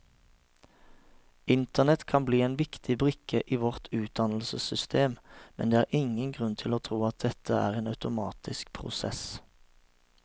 Internett kan bli en viktig brikke i vårt utdannelsessystem, men det er ingen grunn til å tro at dette er en automatisk prosess.